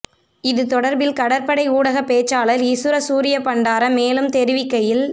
இது தொடர்பில் கடற்படை ஊடகப் பேச்சாளர் இசுர சூரியபண்டார மேலும் தெரிவிக்கையில்